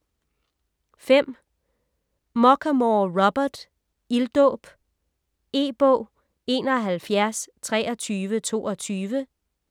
Muchamore, Robert: Ilddåb E-bog 712322